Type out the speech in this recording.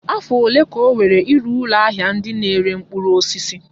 Afọ ole ka o were ịrụ ụlọ ahịa ndị na-ere mkpụrụ osisi?